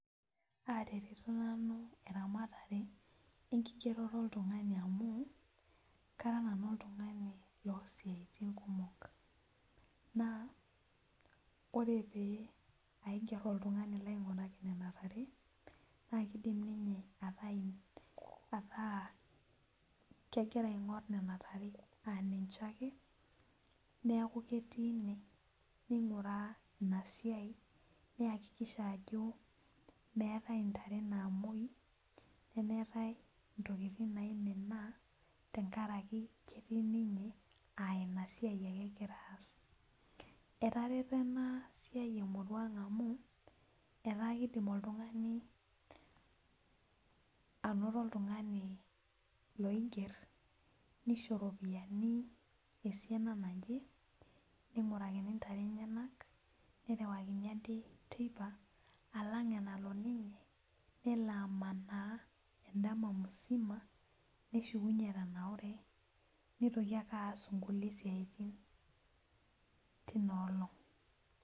Aretito nanu eramatare enkigeroto oltung'ani amu kara nanu oltung'ani losiaitin kumok naa ore pee aigerr oltung'ani laing'uraki nena tare naa kidim ninye ataa, ataa kegira aing'orr nena tare aninche ake neku ketii ine neing'uraa ina siai niyakikisha ajo meetae intare namuoi nemeetae intokitin naimina tenkaraki ketii ninye uh ina siai ake egira aas etareto ena siai emurua ang amu etaa klidim oltung'ani anoto oltung'ani loigerr nisho iropiyiani esiana naje ning'urakiintare ntare enyenak nerewakini adake teipa alang enalo ninye nelo amanaa endama musima neshukunyie etananure nitoki ake aas inkulie siaitin tina olong.